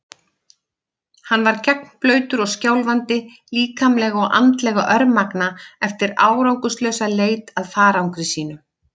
Hann var gegnblautur og skjálfandi, líkamlega og andlega örmagna eftir árangurslausa leit að farangri sínum.